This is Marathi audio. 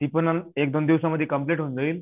ती पण एक दोन दिवसामध्ये कंप्लीट होऊन जाईल